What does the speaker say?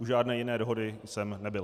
U žádné jiné dohody jsem nebyl.